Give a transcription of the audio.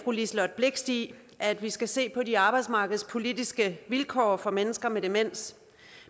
liselott blixt i at vi skal se på de arbejdsmarkedspolitiske vilkår for mennesker med demens